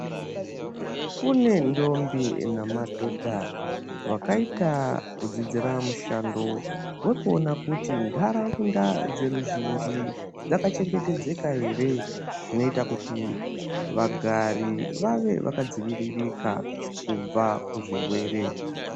Kune ndombi namadhodha vakaita kudzidzira mushando wekuona kuti ntaraunda dzeruzhinhi dzakachengetedzeka ere zvinoita kuti vagari vave vakadzivirika kubva kuzvirwere.